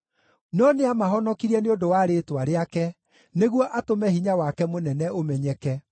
No nĩamahonokirie nĩ ũndũ wa rĩĩtwa rĩake, nĩguo atũme hinya wake mũnene ũmenyeke.